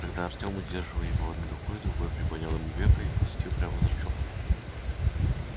тогда артём удерживая его одной рукой другой приподнял ему веко и посветил прямо в зрачок